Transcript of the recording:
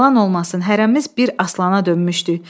Yalan olmasın, hərəmiz bir aslana dönmüşdük.